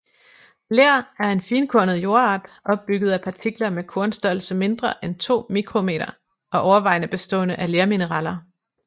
Ler er en finkornet jordart opbygget af partikler med kornstørrelse mindre end 2 µm og overvejende bestående af lermineraler